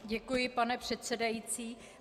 Děkuji, pane předsedající.